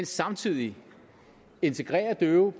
samtidig integrerer døve